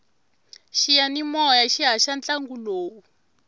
xiyanimoya xi haxa ntlangu lowu